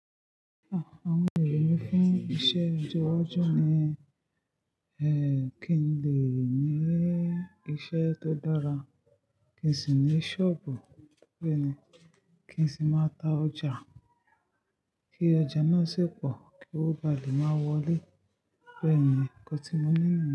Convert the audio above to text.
A, àwọn ero mi fún iṣẹ́ ọjọ́ iwájú ni, kí n lè ní iṣẹ́ tó dára, kí n sì ní ṣọ́ọ̀bù, bẹ́ẹ̀ ni, kí n sì máa ta ọjà, kí ọjà náà sì pò, kí ówo ba lè máa wọlé. Bẹ́ẹ̀ ni, ko ti mo ní ìgbà m.